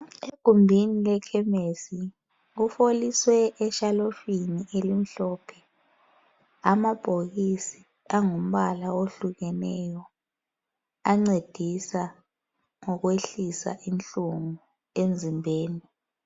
Egumbini lekhemisi kufolisee eshelufini elimhlophe amabhokisi angumbala ohlukeneyo ancedisa ngokwehlisa inhlungu emzimbeni.